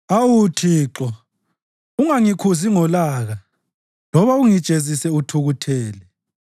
Awu Thixo, ungangikhuzi ngolaka loba ungijezise uthukuthele.